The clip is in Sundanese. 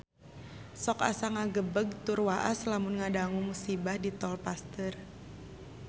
Sok asa ngagebeg tur waas lamun ngadangu musibah di Tol Pasteur